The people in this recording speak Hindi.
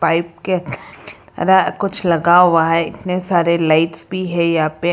पाइप के आकार की तरह कुछ लगा हुआ है इतने सारे लाइट्स भी है यहां पे।